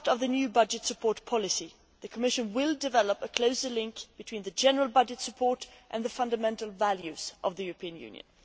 As part of the new budget support policy, the Commission will develop a closer link between general budget support and the fundamental values of the European Union.